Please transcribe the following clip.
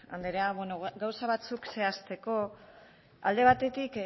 andrea bueno gauza batzuk zehazteko alde batetik